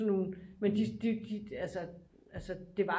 Sådan nogle men de altså det var